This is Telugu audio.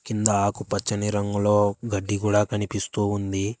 కింద ఆకు పచ్చని రంగులో గడ్డి కూడా కనిపిస్తూ ఉంది.